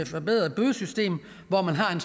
forbedrede bødesystem hvor man har